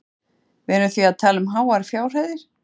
Símon: Við erum því að tala um háar fjárhæðir?